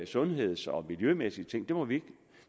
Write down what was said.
sundhedsting og miljømæssige ting det må vi ikke